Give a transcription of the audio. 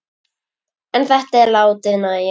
En þetta er látið nægja.